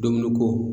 Dumuni ko